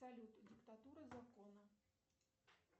салют диктатура закона